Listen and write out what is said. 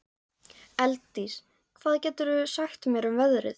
Elddís, hvað geturðu sagt mér um veðrið?